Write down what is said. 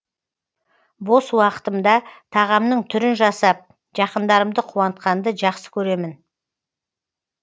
бос уақытымда тағамның түрін жасап жақындарымды қуантқанды жақсы көремін